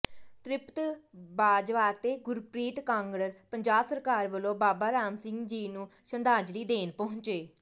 ਤਿ੍ਪਤ ਬਾਜਵਾਅਤੇ ਗੁਰਪ੍ਰੀਤ ਕਾਂਗੜ ਪੰਜਾਬਸਰਕਾਰ ਵਲੋਂ ਬਾਬਾਰਾਮ ਸਿੰਘ ਜੀ ਨੂੰ ਸ਼ਰਧਾਂਜਲੀ ਦੇਣਪਹੁੰਚੇ